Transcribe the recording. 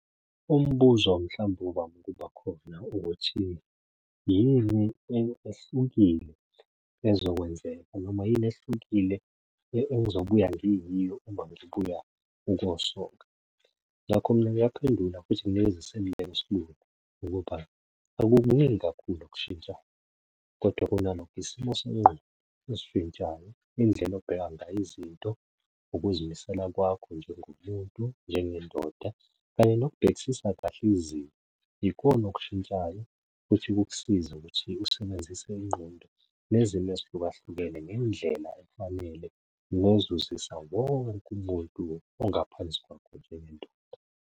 Umbuzo mhlawumbe ovame ukuba khona ukuthi yini ehlukile ezokwenzeka noma yini ehlukile engizobuya ngiyiyo uma ngibuya ukuyosoka? Ngakho mina ngiyaphendula futhi nginikeza iseluleko esilula ukuba akukuningi kakhulu ukushintsha kodwa kunalokho isimo sengqondo esishintshayo indlela obheka ngayo izinto, ukuzimisela kwakho njengomuntu, njengendoda kanye nokubhekisisa kahle izimo. Ikona okushintshayo futhi kukusize ukuthi usebenzise ingqondo nezimo ezihlukahlukene ngendlela efanele ngozuzisa wonke umuntu ongaphansi kwakho njengendoda.